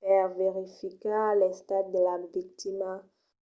per verificar l’estat de la victima